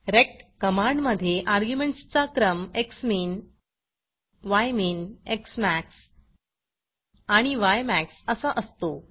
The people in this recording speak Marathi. रेक्ट कमांड मधे अर्ग्युमेंटस चा क्रम झ्मिन यमिन एक्समॅक्स आणि यमॅक्स असा असतो